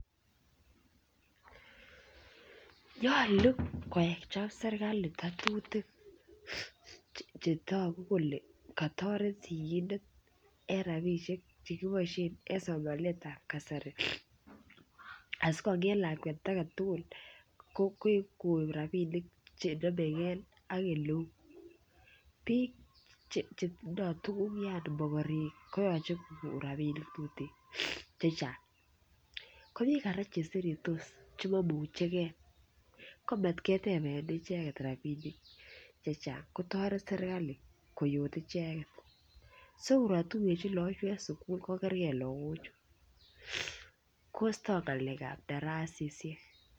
Nyolu kochob serkali ngatutik Che togu kole katoret sigindet en rabisiek Che kiboisien en somanet ab kasari asi konget lakwet age tugul koib rabinik Che nomegei ak oleu bik Chetindoi tuguk yaani mogorek koyoche kogon rabinik Che Chang ko bik kora Che seretos Che mamuche ge ko mat keteben icheget rabinik Che Chang kotoret serkali koyot icheget so kotuyechi lagochu en sukul kogerge lagochu kostoi ngalekab darasaisiek